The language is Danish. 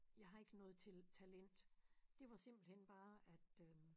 Jeg har ikke noget til talent det var simpelthen bare at øh